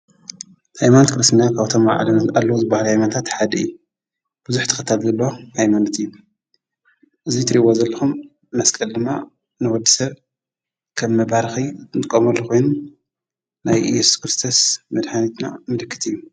ታይማንት ክርስናያ ካብቶም መዓለምዝ ኣሎ ዝበሃል ኣይማንታ ሓድየ ብዙኅ ተኸታግሎ ኣይማንት እዩ እዙይ ትርይወ ዘልኹም መስቀል ድማ ነወድሰር ከብ መባርኸይ ንቆም ልዄኑ ናይ ኢየሱስ ክርስቶስ መድኃኒትና እምልክት እዩ።